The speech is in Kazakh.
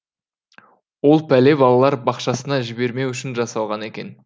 ол пәле балалар бақшасына жібермеу үшін жасалған екен